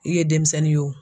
I ye denmisɛnnin ye o.